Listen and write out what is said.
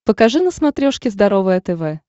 покажи на смотрешке здоровое тв